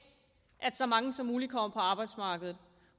så mange som muligt kommer på arbejdsmarkedet